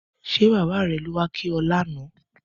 Ṣé bàbá rẹ ló wá kí ọ lánàá?